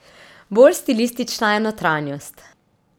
Bolj stilistična je notranjost.